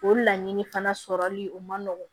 O laɲini fana sɔrɔli o ma nɔgɔn